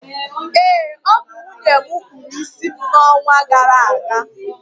ee, ọ bụ nwunye m kpụrụ isi m n’ọnwa gara aga